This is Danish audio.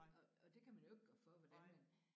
Og og det kan man jo ikke gøre for hvordan man